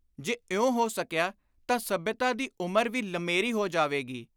ਜੇ ਇਉਂ ਹੋ ਸਕਿਆ ਤਾਂ ਸੱਭਿਅਤਾ ਦੀ ਉਮਰ ਵੀ ਲੰਮੇਰੀ ਹੋ ਜਾਵੇਗੀ